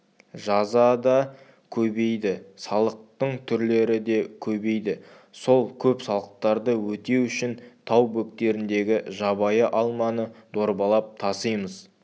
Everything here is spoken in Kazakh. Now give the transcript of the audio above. жаза да көбейді салықтың түрлері де көбейді сол көп салықтарды өтеу үшін тау бөктеріндегі жабайы алманы дорбалап тасимыз